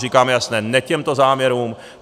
Říkáme jasně ne těmto záměrům.